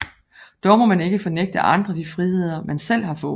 Dog må man ikke fornægte andre de friheder man selv har fået